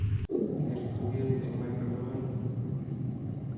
Ker tuget eng macrofonit